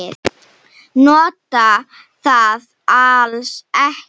Nota það alls ekki.